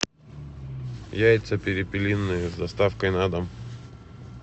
яйца перепелиные с доставкой на дом